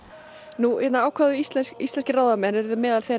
nú ákváðu íslenskir íslenskir ráðamenn meðal